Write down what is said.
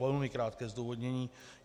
Velmi krátké zdůvodnění.